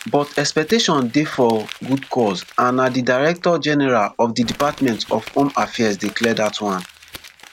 but exception dey for good cause and na di director general of di department of home affairs dey clear dat one